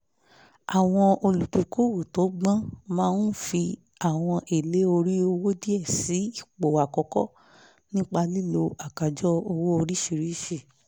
àwọn olùdókòwò tó gbọ́n máa ń fi àwọn èlé orí owó díẹ̀ sí ipò àkọ́kọ́ nípa lílo àkájọ owó oríṣiríṣi